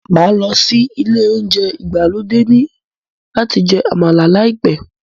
Máa lọ sí ilé oúnjẹ ìgbàlódé ní láti jẹ àmàlà láìpẹ́